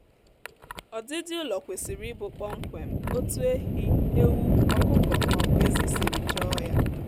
ọdịdi ụlọ kwesịrị ịbụ kpọmkwem otu ehi ewu ọkụkọ maọbụ ezi siri chọọ ya